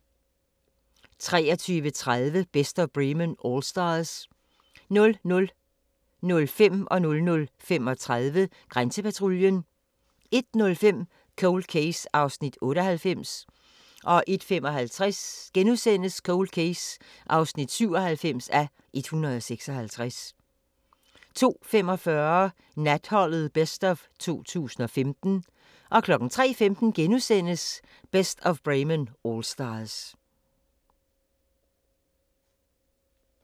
23:30: Best of Bremen Allstars 00:05: Grænsepatruljen 00:35: Grænsepatruljen 01:05: Cold Case (98:156) 01:55: Cold Case (97:156)* 02:45: Natholdet Best of 2015 03:15: Best of Bremen Allstars *